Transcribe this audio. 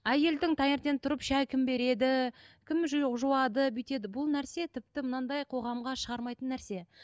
әйелдің таңертең тұрып шай кім береді кім жуады бүйтеді бұл нәрсе тіпті мынандай қоғамға шығармайтын нәрсе